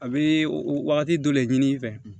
A bɛ wagati dɔ de ɲini i fɛ